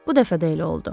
Bu dəfə də elə oldu.